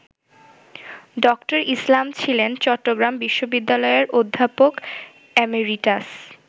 ড: ইসলাম ছিলেন চট্টগ্রাম বিশ্ববিদ্যালয়ের অধ্যাপক এমেরিটাস।